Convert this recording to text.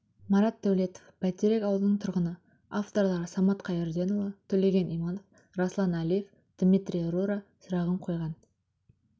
марат дәулетов бәйтерек ауылының тұрғыны авторлары самат қайырденұлы төлеген иманов рәслан әлиев дмитрий рура сұрағын қойған